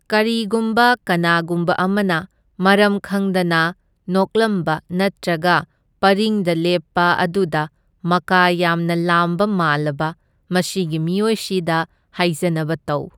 ꯀꯔꯤꯒꯨꯝꯕ ꯀꯅꯥꯒꯨꯝꯕ ꯑꯃꯅ ꯃꯔꯝ ꯈꯪꯗꯅ ꯅꯣꯛꯂꯝꯕ ꯅꯠꯇ꯭ꯔꯒ ꯄꯔꯤꯡꯗ ꯂꯦꯞꯄ ꯑꯗꯨꯗ ꯃꯀꯥ ꯌꯥꯝꯅ ꯂꯥꯝꯕ ꯃꯥꯜꯂꯕ, ꯃꯁꯤꯒꯤ ꯃꯤꯑꯣꯏꯁꯤꯗ ꯍꯥꯏꯖꯅꯕ ꯇꯧ꯫